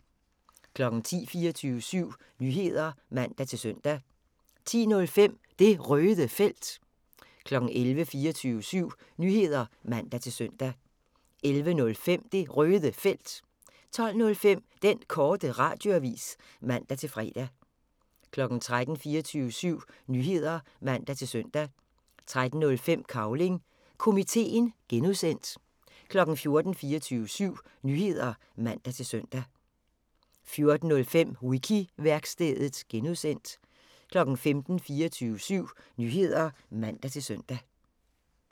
10:00: 24syv Nyheder (man-søn) 10:05: Det Røde Felt 11:00: 24syv Nyheder (man-søn) 11:05: Det Røde Felt 12:05: Den Korte Radioavis (man-fre) 13:00: 24syv Nyheder (man-søn) 13:05: Cavling Komiteen (G) 14:00: 24syv Nyheder (man-søn) 14:05: Wiki-værkstedet (G) 15:00: 24syv Nyheder (man-søn)